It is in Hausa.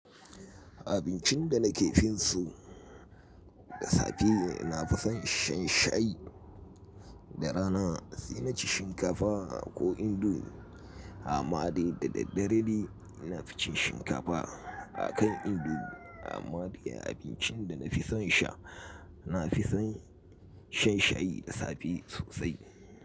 Abincin da na ke fin so, da safe na fi son shan shayi, da rana sai na ci shinkafa ko indomi, anma de da dare de na fi cin shinkafa. A kan indomi anma de abincin da na fi son sha, na fi son shan shayi da safe sosai.